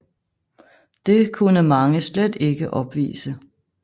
Det kunne mange slet ikke opvise